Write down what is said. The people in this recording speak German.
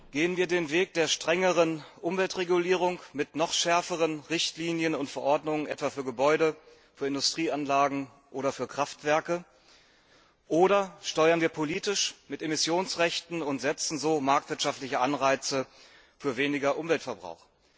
Gehen wir den Weg der strengeren Umweltregulierung mit noch schärferen Richtlinien und Verordnungen, etwa für Gebäude, für Industrieanlagen oder für Kraftwerke, oder steuern wir politisch und geben mit Emissionsrechten und sätzen marktwirtschaftliche Anreize für weniger Umweltverbrauch?